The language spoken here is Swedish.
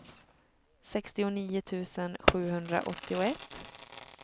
sextionio tusen sjuhundraåttioett